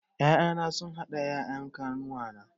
Ƴaƴana sun haɗu da ƴaƴan ƙanuwata